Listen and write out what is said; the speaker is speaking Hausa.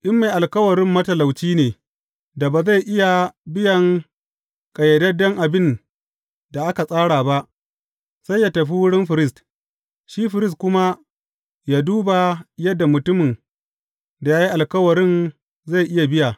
In mai alkawarin matalauci ne da ba zai iya biyan ƙayyadadden abin da aka tsara ba, sai yă tafi wurin firist, shi firist kuma yă duba yadda mutumin da ya yi alkawarin zai iya biya.